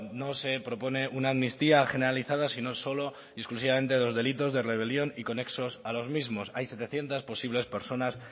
no se propone una amnistía generalizada sino solo y exclusivamente de los delitos de rebelión y conexos a los mismos hay setecientos posibles personas